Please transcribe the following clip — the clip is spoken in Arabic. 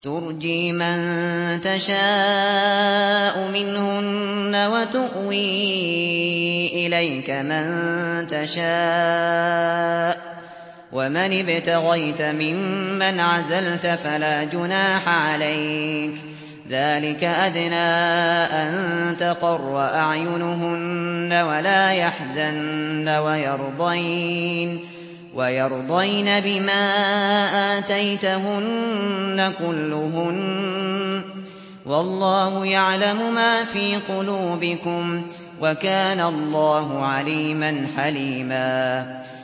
۞ تُرْجِي مَن تَشَاءُ مِنْهُنَّ وَتُؤْوِي إِلَيْكَ مَن تَشَاءُ ۖ وَمَنِ ابْتَغَيْتَ مِمَّنْ عَزَلْتَ فَلَا جُنَاحَ عَلَيْكَ ۚ ذَٰلِكَ أَدْنَىٰ أَن تَقَرَّ أَعْيُنُهُنَّ وَلَا يَحْزَنَّ وَيَرْضَيْنَ بِمَا آتَيْتَهُنَّ كُلُّهُنَّ ۚ وَاللَّهُ يَعْلَمُ مَا فِي قُلُوبِكُمْ ۚ وَكَانَ اللَّهُ عَلِيمًا حَلِيمًا